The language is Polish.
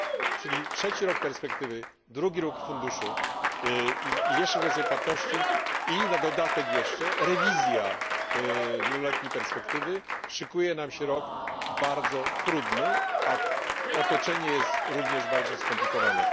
Czyli trzeci rok perspektywy, drugi rok funduszu i jeszcze kwestia płatności, i na dodatek jeszcze rewizja wieloletniej perspektywy szykuje się nam rok bardzo trudny, a otoczenie jest również bardzo skomplikowane.